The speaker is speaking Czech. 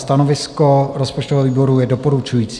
Stanovisko rozpočtového výboru je doporučující.